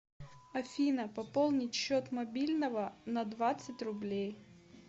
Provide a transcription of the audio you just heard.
афина пополнить счет мобильного на двадцать рублей